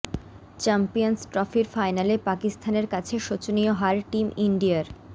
champions ট্রফির ফাইনালে পাকিস্তানের কাছে শোচনীয় হার টিম ইন্ডিয়ার